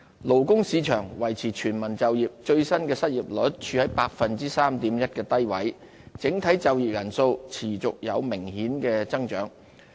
勞工市場維持全民就業，最新的失業率處於 3.1% 的低位，整體就業人數持續有明顯的增長。